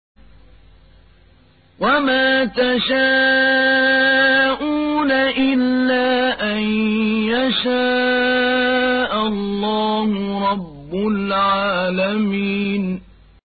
وَمَا تَشَاءُونَ إِلَّا أَن يَشَاءَ اللَّهُ رَبُّ الْعَالَمِينَ